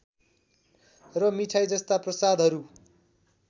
र मिठाई जस्ता प्रसादहरू